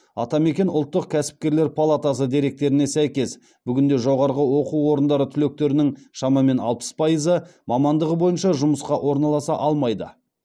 атамекен ұлттық кәсіпкерлер палатасы деректеріне сәйкес бүгінде жоғарғы оқу орындары түлектерінің шамамен алпыс пайызы мамандығы бойынша жұмысқа орналаса алмайды